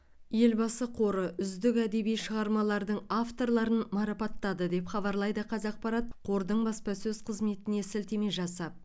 елбасы қоры үздік әдеби шығармалардың авторларын марапаттады деп хабарлайды қазақпарат қордың баспасөз қызметіне сілтеме жасап